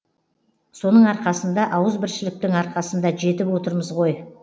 соның арқасында ауызбіршіліктің арқасында жетіп отырмыз ғой